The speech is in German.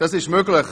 Das ist möglich.